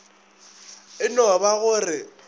e no ba go re